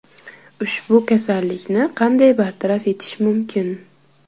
Ushbu kasallikni qanday bartaraf etish mumkin?.